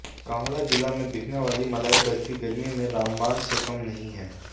कांगड़ा जिला में बिकने वाली मलाई बर्फी गर्मी में रामबाण से कम नहीं है